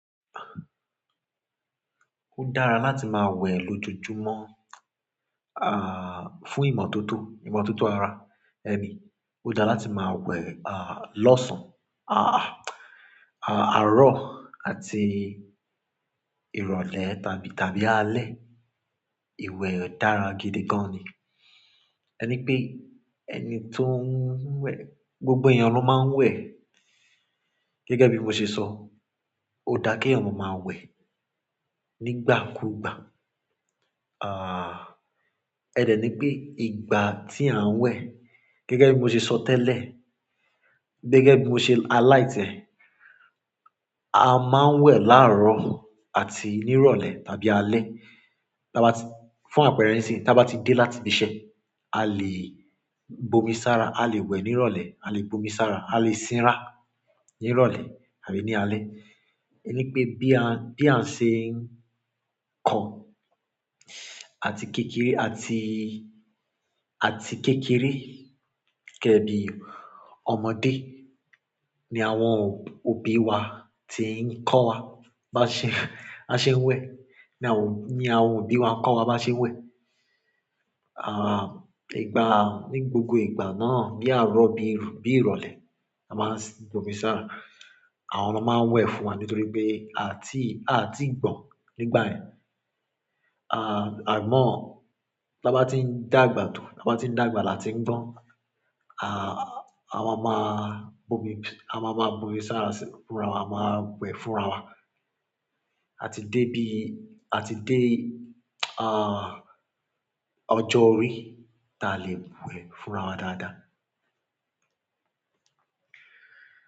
Ó dára láti máa wẹ̀ lójoojúmọ́, à, fún ìmọ̀tótó, ìmọ̀tótó ara ẹni. Ó dára láti máa wẹ̀, à, lọ́sàn-án, à, àárọ̀ àti ìrọ̀lẹ́ tàbí, tàbí alẹ́. Ìwẹ̀ dára gidi gan ni. Ẹ ní pé ẹni tó ń wẹ̀, gbogbo ẹyan ló máa ń wẹ̀. Gẹ́gẹ́ bí mo ṣe sọ, ó dá kí eeyan máma wẹ̀ nígbàkúgbà. À, ẹ dẹ̀ ní pé ìgbà tí à ń wẹ̀, gẹ́gẹ́ bí mo ṣe sọ tẹ́lẹ̀, gẹ́gẹ́ bí mo ṣe highlight yen. A máa ń wẹ̀ láàárọ̀ àti ní ìrọ̀lẹ́ tàbí alẹ́. Tí a bá ti-- fún àpẹẹrẹ síi, tí a bá ti dé láti ibi iṣẹ́, a lè bomi sára, a lè wẹ̀ ní ìrọ̀lẹ́, a lè bomi sára, a lè sinra ní ìrọ̀lẹ́ àbí ní alẹ́. Ẹ ní pé bí a, bí a ṣe ń kọ́ àti kékeré, àti, àti kékeré gẹ́gẹ́ bí ọmọdé ni àwọn òbí wa ti ń kọ́ wa bá ṣe, bá ṣe ń wẹ̀. Ni àwọn òbí wa ń kọ́ wa bá ṣe ń wẹ̀. À, ìgbà, ní gbogbo ìgbà náà ní àárọ̀ bí, bí ìrọ̀lẹ́ a máa ń bomi sára. Àwọn ni won máa ń wẹ̀ fún wa nítorí pé a tí, a tí gbọ̀n nígbàyẹn. À, àmọ́, tí a bá ti ń dàgbà tó, tí a bá ti ń dàgbà láti ń gbọ́n, à, àwa máa bomi, àma máa bomi sára sí inú fúnra, àwa máa wẹ̀ fúnra wa. A ti dé bí, a ti dé, à, ọjọ́ orí tí a lè wẹ̀ fúnra wa dáadáa.